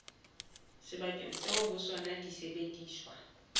sebakeng seo ho sona disebediswa